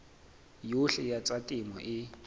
yohle ya tsa temo e